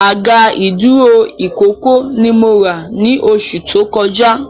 Àga ìdúró ìkókó ni mo rà ni oṣù tó kọjá